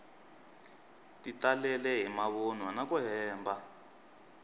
ti talele hi mavunwa naku hemba